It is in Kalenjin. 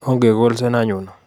Ongekolse anyun